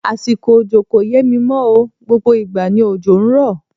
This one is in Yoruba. Àsìkò òjò kò yé mí mọ́ o, gbogbo ìgbà ni òjò ń rọ̀.